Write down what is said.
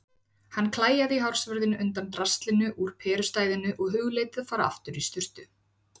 Hann klæjaði í hársvörðinn undan draslinu úr perustæðinu og hugleiddi að fara aftur í sturtu.